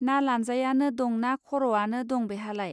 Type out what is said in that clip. ना लानजायानो दंना खर'आनो दं बेहालाय